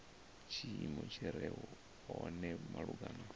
tshiimo tshi re hone malugana